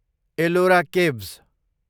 Ellora caves